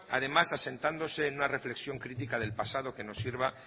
además asentándose en una reflexión crítica del pasado que nos sirva